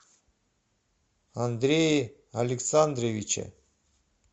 андрее александровиче